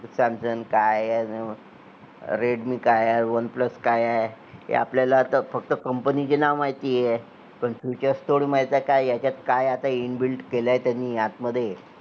samsung काय आहे redme काय आह oneplus काय आहे हे आपल्याला फक्त company चे नाव माहिती आहे पण features थोडी माहित आहे कि यांच्यात काय आता inbuilt केलंय त्यांनी आत मध्ये